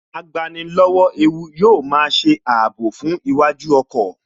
Agbani lọ́wọ́ ewu yóò máa ṣe ààbò fún iwájú ọkọ̀